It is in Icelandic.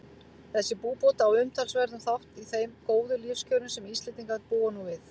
Þessi búbót á umtalsverðan þátt í þeim góðu lífskjörum sem Íslendingar búa nú við.